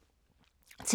TV 2